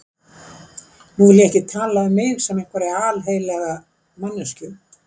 Nú vil ég ekki tala um mig sem einhverja alheilaga manneskju.